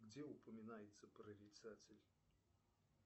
где упоминается прорицатель